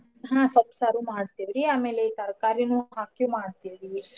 ಹ್ಞಾ ಸೊಪ್ಪ್ ಸಾರೂ ಮಾಡ್ತಿವ್ರ್ರೀ ಆಮೇಲೆ ಈ ತರ್ಕಾರಿನೂ ಹಾಕಿ ಮಾಡ್ತಿವ್ರಿ.